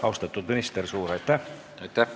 Austatud minister, suur aitäh!